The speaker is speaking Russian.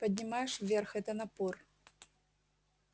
поднимаешь вверх это напор